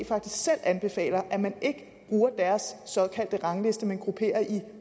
faktisk selv anbefaler at man ikke bruger deres såkaldte rangliste men grupperer i